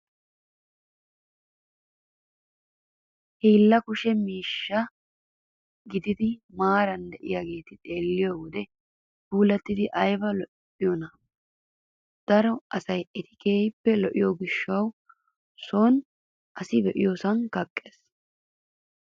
Hiilla kushshe mkiishshati giigidaageeti maaraara diyaageeti xeelliyoo wode puulattidi ayiba lo'iyoonaa! Daro asayi eti keehippe lo''iyoo gishshawu son asi be'iyoosan kaqqes.